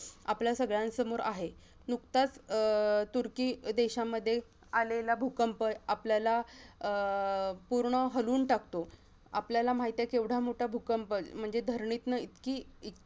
आपल्या सगळ्यांसमोर आहे नुकताच अह तुर्की देशामध्ये आलेला भूकंप आपल्याला अह पूर्ण हलवून टाकतो आपल्याला माहीत आहे केवढा मोठा भूकंप म्हणजे धरणीतना इतकी